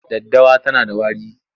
Daddawa tana da wari.,